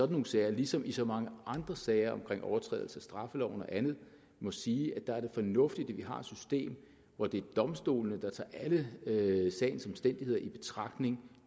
nogle sager ligesom i så mange andre sager om overtrædelse af straffeloven og andet må sige at der er det fornuftigt at vi har et system hvor det er domstolene der tager alle sagens omstændigheder i betragtning